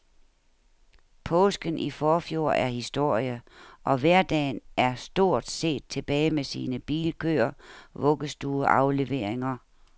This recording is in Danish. Påsken i forfjor er historie, og hverdagen er stort set tilbage med sine bilkøer, vuggestueafleveringer,